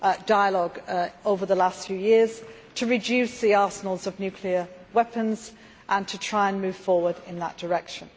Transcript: dialogue over the last few years to reduce the arsenals of nuclear weapons and to try and move forward in that direction.